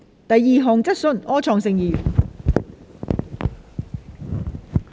第二項質詢。